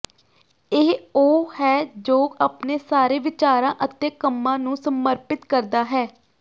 ਇਹ ਉਹ ਹੈ ਜੋ ਆਪਣੇ ਸਾਰੇ ਵਿਚਾਰਾਂ ਅਤੇ ਕੰਮਾਂ ਨੂੰ ਸਮਰਪਿਤ ਕਰਦਾ ਹੈ